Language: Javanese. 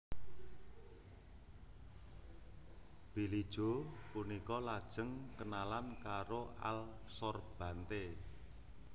Billie Joe punika lajéng kénalan karo Al Sorbante